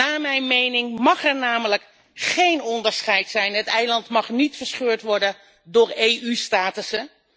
Naar mijn mening mag er namelijk geen onderscheid zijn. Het eiland mag niet verscheurd worden door EU statussen.